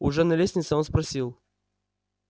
уже на лестнице он спросил